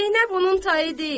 Zeynəb onun tayı deyil.